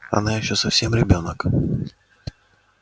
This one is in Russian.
она ещё совсем ребёнок